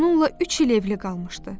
Onunla üç il evli qalmışdı.